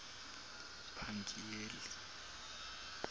pangiyeli